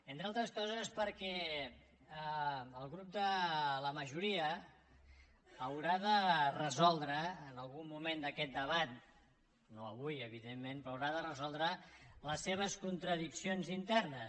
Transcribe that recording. entre altres coses perquè el grup de la majoria haurà de resoldre en algun moment d’aquest debat no avui evidentment però haurà de resoldre les seves contradiccions internes